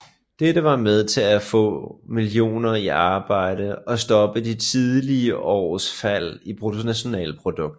Dette var med til at få millioner i arbejde og stoppe de tidligere års fald i bruttonationalproduktet